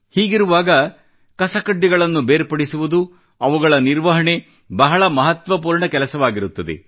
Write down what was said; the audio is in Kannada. ಹೀಗಿರುವಾಗ ಕಸಕಡ್ಡಿಗಳನ್ನು ಬೇರ್ಪಡಿಸುವುದು ಅವುಗಳ ನಿರ್ವಹಣೆ ಬಹಳ ಮಹತ್ವಪೂರ್ಣ ಕೆಲಸವಾಗಿರುತ್ತದೆ